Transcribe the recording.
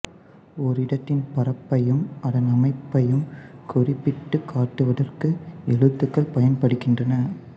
ஓரிடத்தின் பரப்பையும் அதன் அமைப்பையும் குறிப்பிட்டுக் காட்டுவதற்கு எழுத்துக்கள் பயன்படுகின்றன